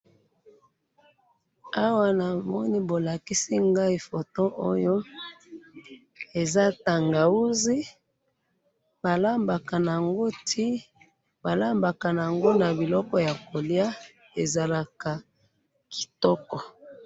awa namoni bolakisi ngai photo oyo eza tangawizi balambaka yango na biloko ya kolya ezalaka kitoko